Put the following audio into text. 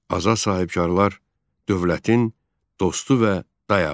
Azad sahibkarlar dövlətin dostu və dayağıdır.